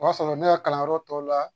O y'a sɔrɔ ne ka kalanyɔrɔ tɔw la